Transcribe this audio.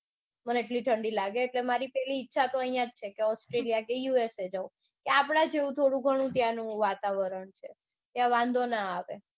મને એટલી ઠંડી લાગે કે મારી પેલી ઇચ્છા તો અઇયા જ છે. કે australia કે યુસએ જાઉં. ત્યાં આપડા જેવું થોડુંગનું આપડા જેવું ત્યાંનું વાતાવરણ છે. ત્યાં વાંધો ના આવે.